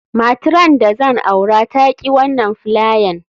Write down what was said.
Matran da zan aura ta ki wanan filayan.